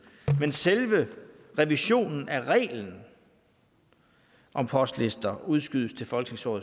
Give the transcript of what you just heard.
men selve revisionen af reglen om postlister udskydes til folketingsåret